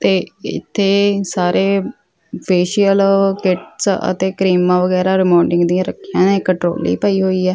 ਤੇ ਇੱਥੇ ਸਾਰੇ ਫੇਸ਼ੀਅਲ ਕਿਟਸ ਅਤੇ ਕਰੀਮਾਂ ਵਗੈਰਾ ਰਿਮੋਵਿੰਗ ਦੀਆਂ ਰੱਖੀਆਂ ਨੇ ਇੱਕ ਟਰੋਲੀ ਪਈ ਹੋਈ ਆ।